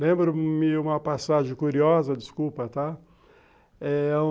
Lembro-me uma passagem curiosa, desculpa, tá?